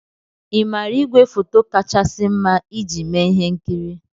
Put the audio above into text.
Ị maara ígwèfoto kachasị mma iji eme ihe nkiri?